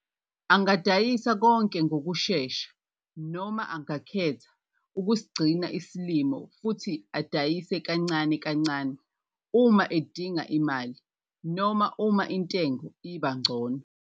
Angadayisa konke ngokushesha noma angakhetha ukusigcina isilimo futhi asidayise kancane kancane uma edinga imali - noma uma intengo iba ngcono.